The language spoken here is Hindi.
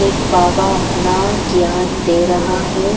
एक बाबा अपना ज्ञान दे रहा है।